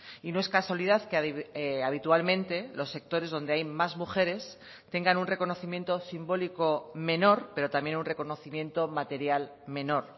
y no es casualidad que habitualmente los sectores donde hay más mujeres tengan un reconocimiento simbólico menor pero también un reconocimiento material menor